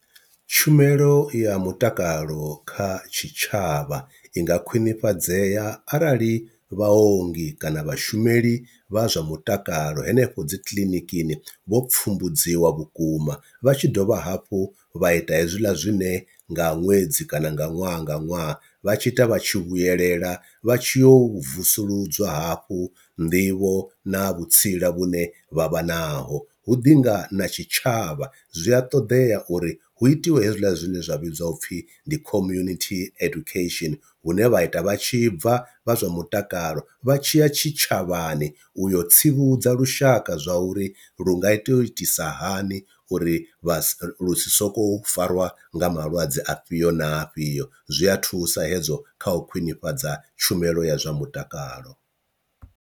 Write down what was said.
Tshumelo ya mutakalo kha tshitshavha i nga khwinifhadzea arali vhaongi kana vhashumeli vha zwa mutakalo henefho dzi kiḽinikini vho pfumbudziwa vhukuma vha tshi dovha hafhu vha ita hezwila zwine nga ṅwedzi kana nga ṅwaha nga ṅwaha vha tshi ita vha tshi vhuyelela vha tshiyo u vusuludzwa hafhu nḓivho na vhutsila vhune vhavha naho. Hu ḓi nga na tshitshavha zwi a ṱoḓea uri hu itiwe hezwiḽa zwine zwa vhidziwa upfhi ndi community education, hune vha ita vha tshi bva vha zwa mutakalo vha tshiya tshitshavhani u yo tsivhudza lushaka zwa uri lu nga to u itisa hani uri vha lu si sokou farwa nga malwadze afhio na afhio, zwi a thusa hezwo kha u khwinifhadza tshumelo ya zwa mutakalo.